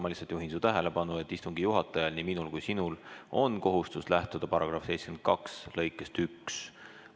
Ma lihtsalt juhin su tähelepanu, et istungi juhatajal – nii minul kui ka sinul – on kohustus lähtuda § 72 lõikest 1.